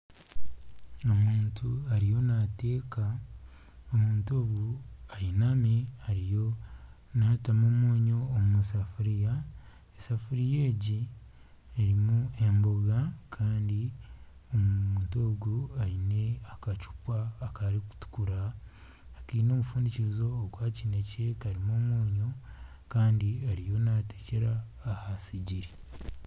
Omuntu ariyo naateeka omuntu ogu ainami ariyo naatamu omwonyo omusefuria esafuria egi erimu emboga kandi omuntu ogu aine akacupa karikutukura akaine omufundikizo ogwa kinekye kandi karimu omwonyo kandi ariyo natekyera aha sigiri.